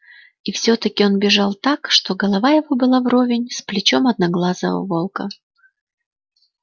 и всё таки он бежал так что голова его была вровень с плечом одноглазого волка